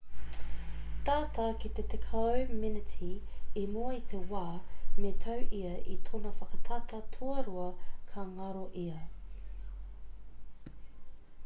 tata ki te tekau meneti i mua i te wā me tau ia i tōna whakatata tuarua ka ngaro ia